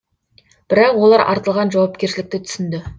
бірақ олар артылған жауапкершілікті түсінді